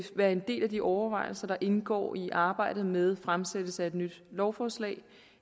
være en del af de overvejelser der indgår i arbejdet med fremsættelse af et nyt lovforslag